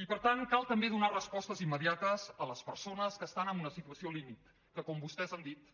i per tant cal també donar respostes immediates a les persones que estan en una situació límit que com vostès han dit